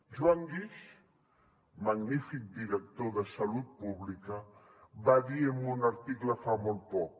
joan guix magnífic director de salut pública va dir en un article fa molt poc